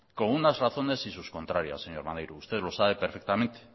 con unas razones y sus contrarias señor maneiro usted lo sabe perfectamente